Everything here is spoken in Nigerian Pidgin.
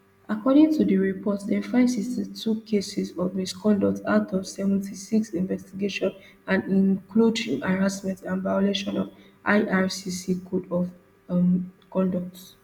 according to di reportdem find sixty-two cases of misconduct out of seventy-six investigations and e include harassment and violations of ircc code of um conduct